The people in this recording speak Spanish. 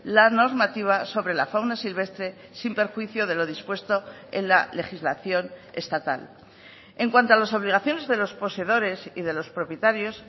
la normativa sobre la fauna silvestre sin perjuicio de lo dispuesto en la legislación estatal en cuanto a las obligaciones de los poseedores y de los propietarios